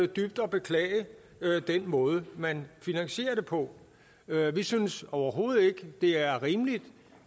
dybt at beklage den måde man finansierer det på vi synes overhovedet ikke det er rimeligt